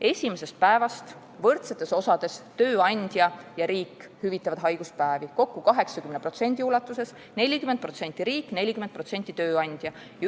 Esimesest päevast hüvitavad haiguspäevi võrdsetes osades tööandja ja riik, kokku 80% ulatuses: 40% riik, 40% tööandja.